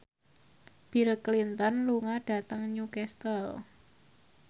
Bill Clinton lunga dhateng Newcastle